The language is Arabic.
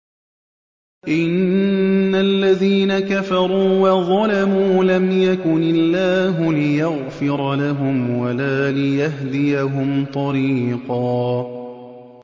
إِنَّ الَّذِينَ كَفَرُوا وَظَلَمُوا لَمْ يَكُنِ اللَّهُ لِيَغْفِرَ لَهُمْ وَلَا لِيَهْدِيَهُمْ طَرِيقًا